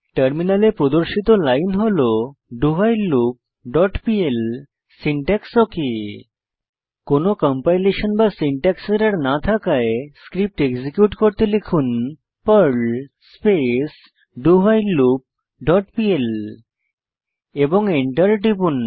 টার্মিনালে প্রদর্শিত লাইন হল dowhileloopপিএল সিনট্যাক্স ওক কোনো কম্পাইলেশন বা সিনট্যাক্স এরর না থাকায় স্ক্রিপ্ট এক্সিকিউট করতে লিখুন Perl space do while loop dot PL এবং এন্টার টিপুন